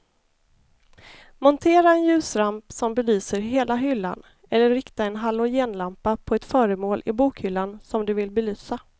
Montera en ljusramp som belyser hela hyllan eller rikta en halogenlampa på ett föremål i bokhyllan som du vill belysa.